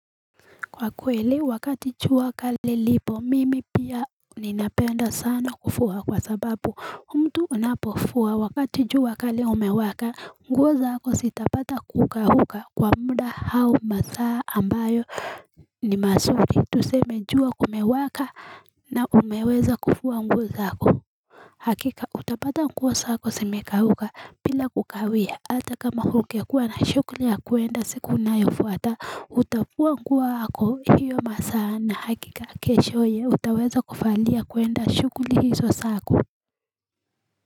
Kwa kweli wakati jua kale lilipo mimi pia ninapenda sana kufua kwa sababu mtu unapofua wakati jua kali umewaka nguo zako zitapata kukauka kwa muda au masaa ambayo ni mazuri tuseme jua kumewaka na umeweza kufua nguo zako Hakika utapata nguo zako zimeka bila kukawia hata kama ungekua na shughuli ya kuenda siku inayofuata utafua nguo yako hiyo masaa na hakika kesho utaweza kuvalia kuenda shughuli hizo zako.